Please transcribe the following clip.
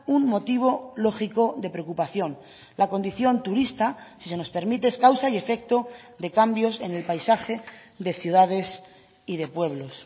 un motivo lógico de preocupación la condición turista si se nos permite es causa y efecto de cambios en el paisaje de ciudades y de pueblos